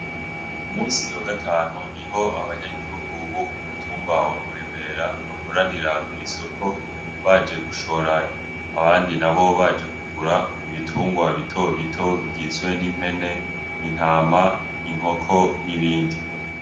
Umusi wa gatanu niho abanyagihugu bo kumutumba wa muremera bakoranira kw’isoko baje gushora abandi nabo baje kugura ibitungwa bitobito bigizwe n’impene , intama , inkoko n’ibindi .